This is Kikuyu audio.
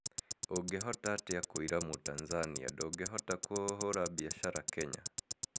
Ũngĩhotaatia kũira mũtanzania ndũngĩhota kũhura biashara kenya?